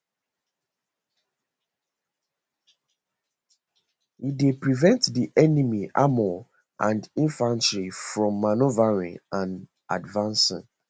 e dey prevent di enemy armour and infantry from manoeuvring and advancing